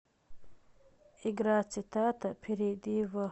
игра цитата перейди в